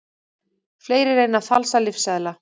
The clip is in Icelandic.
Fleiri reyna að falsa lyfseðla